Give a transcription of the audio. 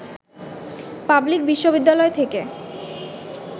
public বিশ্ববিদ্যালয় থেকে